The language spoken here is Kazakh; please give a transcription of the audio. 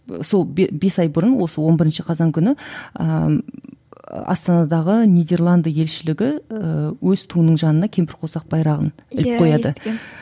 сол бес ай бұрын осы он бірінші қазан күні ыыы астанадағы нидерланды елшілігі ііі өз туының жанына кемпірқосақ байрағын іліп қояды